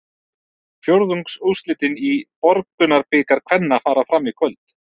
Fjórðungsúrslitin í Borgunarbikar kvenna fara fram í kvöld.